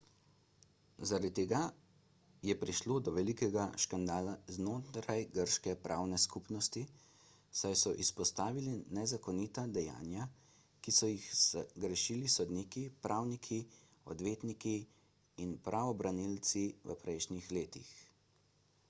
zaradi tega je prišlo do velikega škandala znotraj grške pravne skupnosti saj so izpostavili nezakonita dejanja ki so jih zagrešili sodniki pravniki odvetniki in pravobranilci v prejšnjih letih